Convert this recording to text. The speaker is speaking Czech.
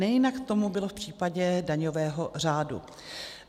Nejinak tomu bylo v případě daňového řádu.